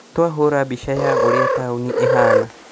Nĩtwahũra mbica ya ũrĩa taũni ĩhana